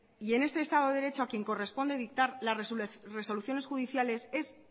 y en este estado de derecho a quien corresponde dictar las resoluciones judiciales es